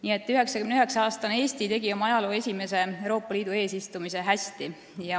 Nii et 99-aastane Eesti tegi oma ajaloo esimese Euroopa Liidu eesistumise hästi ära.